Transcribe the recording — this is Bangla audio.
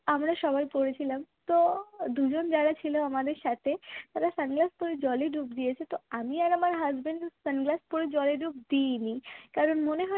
আমরা সবাই পড়েছিলাম তো দুজন যারা ছিল আমাদের সাথে তারা sunglass পড়ে জলে ডুব দিয়েছে তো আমি আর আমার husbandsunglass জলে ডুব দিইনি কারণ মনে হয়